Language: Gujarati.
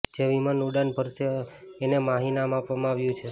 જે વિમાન ઉડાન ભરશે એને માહી નામ આપવામાં આવ્યું છે